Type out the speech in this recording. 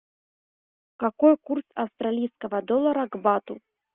какой курс австралийского доллара к бату